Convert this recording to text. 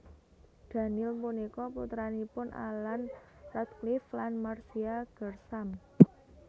Daniel punika putranipun Alan Radcliffe lan Marcia Gersham